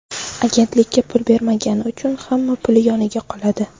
Agentlikka pul bermagani uchun hamma pul yoniga qoladi.